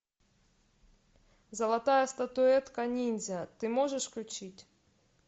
золотая статуэтка ниндзя ты можешь включить